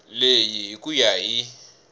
leyi hi ku ya hi